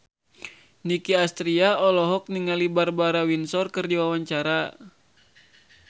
Nicky Astria olohok ningali Barbara Windsor keur diwawancara